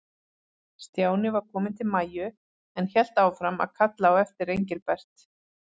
Stjáni var kominn til Maju, en hélt áfram að kalla á eftir Engilbert.